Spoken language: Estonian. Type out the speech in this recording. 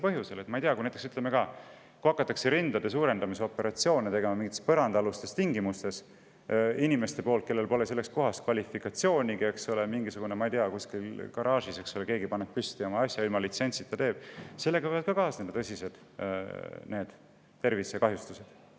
Ütleme näiteks, et kui rindade suurendamise operatsioone hakataks tegema mingites põrandaalustes tingimustes ja seda teeksid inimesed, kellel pole selleks kvalifikatsiooni, keegi kusagil garaažis paneb oma püsti ja teeb ilma litsentsita, siis ka sellega võivad kaasneda tõsised tervisekahjustused.